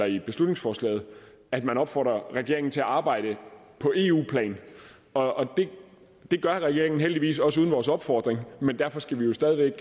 i beslutningsforslaget at man opfordrer regeringen til at arbejde på eu plan og det gør regeringen heldigvis også uden vores opfordring men derfor skal vi jo stadig væk